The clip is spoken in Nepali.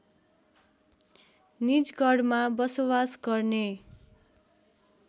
निजगढमा बसोबास गर्ने